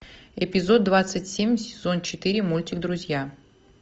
эпизод двадцать семь сезон четыре мультик друзья